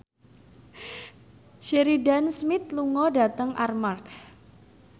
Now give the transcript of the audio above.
Sheridan Smith lunga dhateng Armargh